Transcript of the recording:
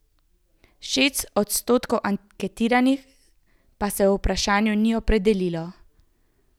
Šest odstotkov anketiranih pa se o vprašanju ni opredelilo.